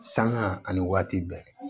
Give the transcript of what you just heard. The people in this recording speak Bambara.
Sanŋa ani waati bɛɛ